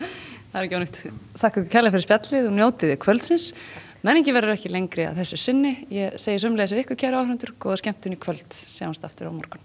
það er ekki ónýtt þakka ykkur kærlega fyrir spjallið og njótið kvöldsins menningin verður ekki lengri að þessu sinni ég segi sömuleiðis við ykkur kæru áhorfendur góða skemmtun í kvöld sjáumst aftur á morgun